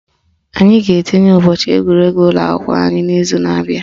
Anyị ga-etinye ụbọchị egwuregwu ụlọakwụkwọ anyị n'izu na abịa